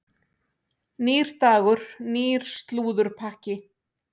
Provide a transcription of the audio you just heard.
Nýr dagur, nýr slúðurpakki.